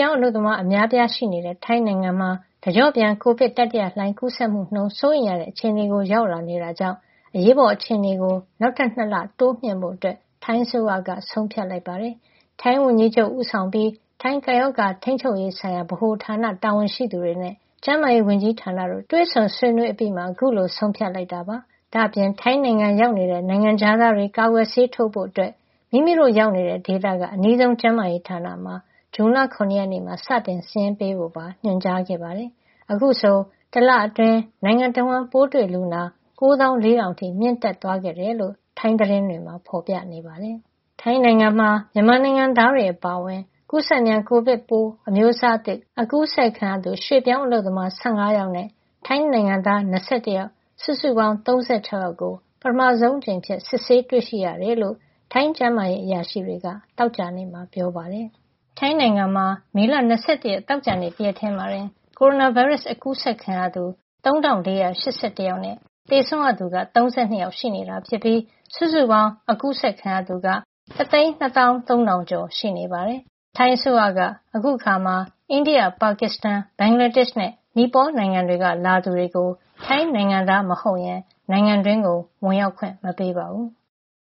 င်းအလုပ်သမား အများအပြား ရှိနေတဲ့ ထိုင်းနိုင်ငံမှာ တကျော့ပြန် ကိုဗစ် တတိယလှိုင်း ကူးစက်မှုနှုန်းက စိုးရိမ်ရတဲ့ အခြေအနေကို ရောက်လာနေတာကြောင့် အရေးပေါ်အခြေနေကို နောက်ထပ် ၂ လ တိုးမြှင့်ဖို့ ထိုင်းအစိုးရက ဆုံးဖြတ်လိုက်ပါတယ်။ ထိုင်းဝန်ကြီးချုပ် Prayuth Chan-o-cha ဦးဆောင်ပြီး ထိုင်း ကပ်ရောဂါထိန်းချုပ်ရေးဆိုင်ရာ ဗဟိုဌာန (CCSA) တာဝန်ရှိသူတွေနဲ့ ကျန်းမာရေးဝန်ကြီးဌာနတို့ တွေ့ဆုံဆွေးနွေးပွဲအပြီးမှာ အခုလို ဆုံးဖြတ်လိုက်တာပါ။ ဒါ့အပြင် ထိုင်းနိုင်ငံတွင်း ရောက်နေတဲ့ နိုင်ငံခြားသားတွေ ကာကွယ်ဆေးထိုးဖို့ မိမိရောက်နေတဲ့ ဒေသက အနီးဆုံး ကျန်းမာရေးဌာနမှာ ဇွန်လ ၇ ရက်မှာ စတင်စာရင်းပေးဖို့ပါ ညွှန်ကြားခဲ့ပါတယ်။ အခုဆိုရင် တလအတွင်း နိုင်ငံတဝန်း ပိုးတွေ့လူနာ ၉၄,၀၀၀ အထိ မြင့်တက်သွားခဲ့တယ်လို့ ထိုင်းသတင်းတွေမှာ ဖော်ပြကြပါတယ်။ ထိုင်းနိုင်ငံမှာ မြန်မာနိုင်ငံသားတွေ အပါအဝင် ကူးစက်မြန် ကိုဗစ်ရောဂါပိုး အမျိုးအစားသစ် ကူးစက်ခံရသူ ရွှေ့ပြောင်းအလုပ်သမား ၁၅ ယောက်နဲ့ ထိုင်းနိုင်ငံသား ၂၁ ယောက် စုစုပေါင်း ၃၆ ယောက်ကို ပထမဆုံးအကြိမ်အဖြစ် စစ်ဆေးတွေ့ရှိခဲ့ကြောင်း ထိုင်းကျန်းမာရေး အရာရှိတွေက သောကြာနေ့က ပြောပါတယ်။ ထိုင်းနိုင်ငံမှာ မေလ ၂၁ ရက် သောကြာနေ့ တရက်တည်းမှာတင် ကိုရိုနာဗိုင်းရပ်စ် ကူးစက်ခံရသူ ၃,၄၈၁ ယောက်နဲ့ သေဆုံးသူ ၃၂ ယောက်ရှိနေတာ ဖြစ်ပြီး စုစုပေါင်း ကူးစက်ခံရသူက ၁၂၃,၀၀၀ ကျော် ရှိနေပါတယ်။ ထိုင်းအစိုးရက အခုအခါမှာ အိန္ဒိယ၊ ပါကစ္စတန်၊ ဘင်္ဂလားဒေ့ရှ်နဲ့ နီပေါနိုင်ငံတွေက လာသူတွေကို ထိုင်းနိုင်ငံသားမဟုတ်ရင် နိုင်ငံတွင်း ဝင်ရောက်ခွင့် မပေးပါဘူး။